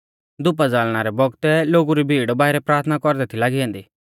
धूपा ज़ाल़णा रै बौगतै लोगु री भीड़ बाइरै प्राथना कौरदै थी लागी ऐन्दी